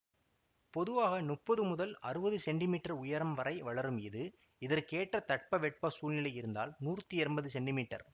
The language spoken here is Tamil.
பொதுவாக முப்பது முதல் அறுபது சென்டி மீட்டர் உயரம் வரை வளரும் இது இதற்கேற்ற தட்பவெட்ப சூழ்நிலை இருந்தால் நூற்தி எம்பது சென்டி மீட்டர்